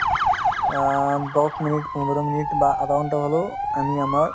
আ, দহ minute সমবেত সংগীত বা আধা ঘণ্টা হ'লেও আমি আমাৰ